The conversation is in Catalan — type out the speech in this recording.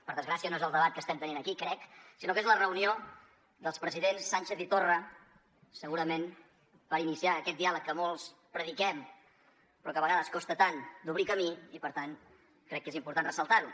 per desgràcia no és el debat que estem tenint aquí crec sinó que és la reunió dels presidents sánchez i torra segurament per iniciar aquest diàleg que molts prediquem però a vegades costa tant d’obrir camí i per tant crec que és important ressaltar ho